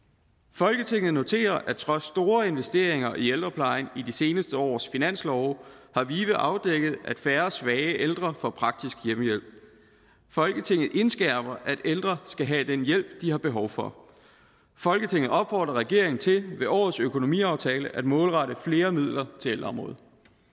folketinget noterer at trods store investeringer i ældreplejen i de seneste års finanslove har vive afdækket at færre svage ældre får praktisk hjemmehjælp folketinget indskærper at ældre skal have den hjælp de har behov for folketinget opfordrer regeringen til ved årets økonomiaftale at målrette flere midler til ældreområdet